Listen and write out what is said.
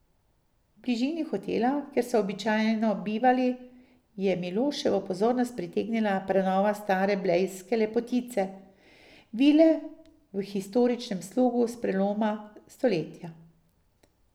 V bližini hotela, kjer so običajno bivali, je Miloševo pozornost pritegnila prenova stare blejske lepotice, vile v historičnem slogu s preloma stoletja.